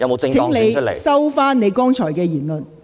請你收回你剛才的言論。